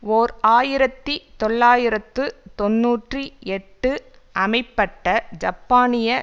ஓர் ஆயிரத்தி தொள்ளாயிரத்து தொன்னூற்றி எட்டு அமைப்பட்ட ஜப்பானிய